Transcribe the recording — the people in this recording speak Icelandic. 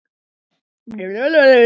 Olla átti góða að.